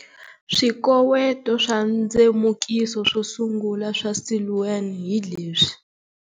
Swikoweto swa ndzemukiso swo sungula swa Siluan hi leswi.